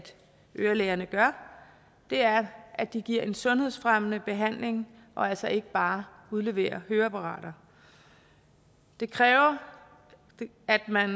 ørelægerne gør er at de giver en sundhedsfremmende behandling og altså ikke bare udleverer høreapparater det kræver at man